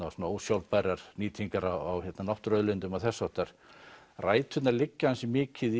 og svona ósjálfbærrar nýtingar á náttúruauðlindum og þess háttar ræturnar liggja ansi mikið